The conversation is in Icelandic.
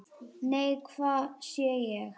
Nei, hvað sé ég!